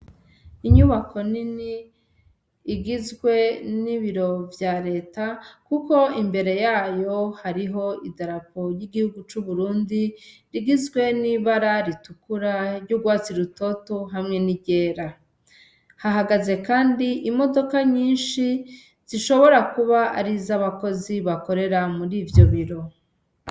Inyubako nini igizwe n'ibiro vya leta, kuko imbere yayo hariho idarapo ry'igihugu c'uburundi rigizwe n'ibara ritukura ry'urwatsi rutoto hamwe n'iryera hahagaze, kandi imodoka nyinshi zishobora kuba arizo abakozi bakorera muri ivyo biro.